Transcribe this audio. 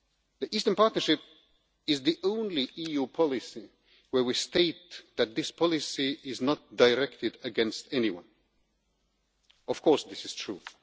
The Eastern Partnership is the only EU policy in which we state that the policy is not directed against anyone and, of course, this is true.